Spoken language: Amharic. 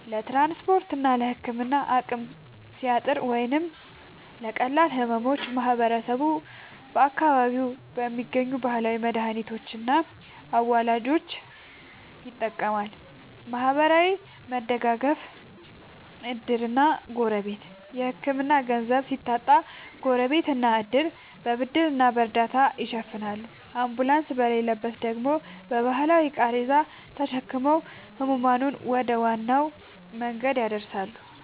ለትራንስፖርትና ለሕክምና አቅም ሲያጥር ወይም ለቀላል ሕመሞች ማህበረሰቡ በአካባቢው በሚገኙ ባህላዊ መድኃኒቶችና አዋላጆች ይጠቀማል። ማህበራዊ መደጋገፍ (ዕድርና ጎረቤት)፦ የሕክምና ገንዘብ ሲታጣ ጎረቤትና ዕድር በብድርና በእርዳታ ይሸፍናሉ፤ አምቡላንስ በሌለበት ደግሞ በባህላዊ ቃሬዛ ተሸክመው ሕሙማንን ወደ ዋና መንገድ ያደርሳሉ።